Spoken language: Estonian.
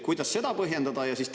Kuidas seda põhjendada?